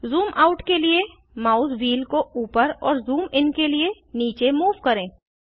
zoom out के लिए mouse wheel को ऊपर और ज़ूम इन के लिए नीचे मूव करें